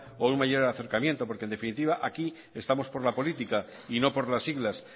o un mayor acercamiento porque en definitiva aquí estamos por la política y no por las siglas